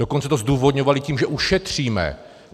Dokonce to zdůvodňovali tím, že ušetříme.